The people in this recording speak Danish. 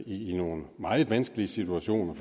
i nogle meget vanskelige situationer